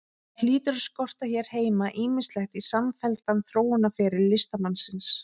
Því hlýtur að skorta hér heima ýmislegt í samfelldan þróunarferil listamannsins.